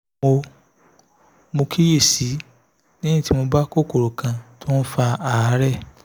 mo mo kíyè sí i lẹ́yìn tí mo bá kòkòrò kan tó ń fa àárẹ̀